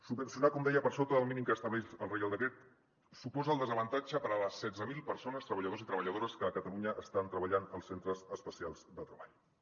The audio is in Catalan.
subvencionar com deia per sota del mínim que estableix el reial decret suposa el desavantatge per a les setze mil persones treballadors i treballadores que a catalunya estan treballant als centres especials de treball